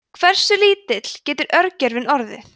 hversu lítill getur örgjörvinn orðið